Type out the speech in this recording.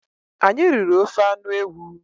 Anyị riri ofe anụ ewu.